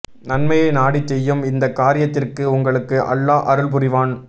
நன்மையை நாடி செய்யும் இந்த காரியத்திற்கு உங்களுக்கு அல்லாஹ் அருள்புரிவான்